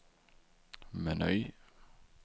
meny